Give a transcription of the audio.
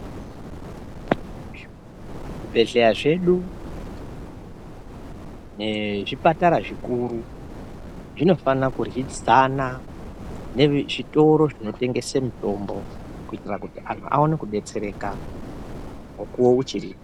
Zvibhedhlera zvedu nezvipatara zvikuru zvinofana kuryidzana nezvitoro zvinotengese mitombo kuitira kuti antu Aone kudetsereka mukuwo uchiripo.